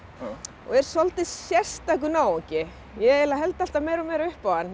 er svolítið sérstakur náungi ég eiginlega held alltaf meira og meira upp á hann mér